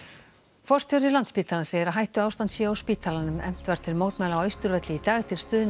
forstjóri Landspítalans segir að hættuástand sé á spítalanum efnt var til mótmæla á Austurvelli í dag til stuðnings